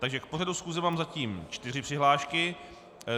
Takže k pořadu schůze mám zatím čtyři přihlášky.